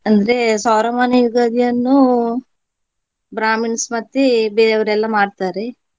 ಅಂದ್ರೆ ಸೌರಮಾನ ಯುಗಾದಿಯನ್ನು Brahmins ಮತ್ತೆ ಬೇರೆಯವರೆಲ್ಲ ಮಾಡ್ತಾರೆ.